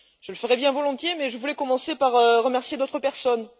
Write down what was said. Je le ferais bien volontiers, mais je voulais commencer par remercier d'autres personnes.